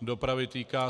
dopravy týká.